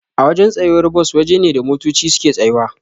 Awajan tsayuwar Bus waje ne da motoci suke tsayawa